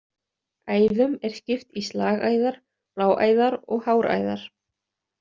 Æðum er skipt í slagæðar, bláæðar og háræðar.